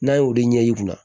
N'a y'o de ɲɛ yir'i la